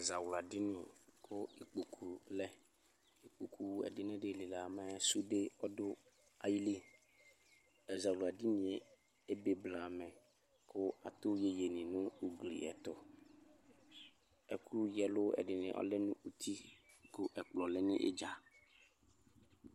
Ɛzawla dini ku ikpoku lɛ ku ɛdini alila nu sude ayili ɛzawla dini ebeblamɛ ku atu iyeye nu ugli yɛ ayɛtu ɛkuyeludini lɛ nu uti ku ɛkplɔ lɛ nu idza